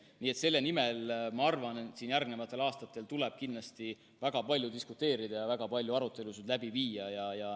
Nii et selle üle, ma arvan, järgnevatel aastatel tuleb kindlasti väga palju diskuteerida ja väga palju arutelusid läbi viia.